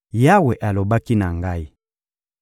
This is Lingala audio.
Yawe alobaki na ngai: